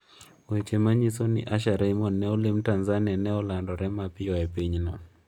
Weche manyiso ni Usher Raymond ne olim Tanzania ne olandre mapiyo e pinyno.